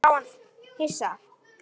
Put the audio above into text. Hún horfði á hann hissa.